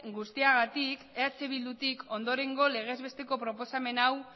guztiagatik eh bidutik ondorengo legez besteko proposamen hau